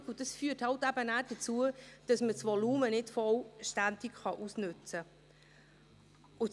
Dies führt dann dazu, dass man das Volumen nachher nicht vollständig ausnützen kann.